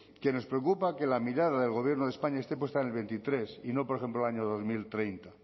que nos preocupa que la mirada del gobierno de españa esté puesta en el veintitrés y no por ejemplo el año dos mil treinta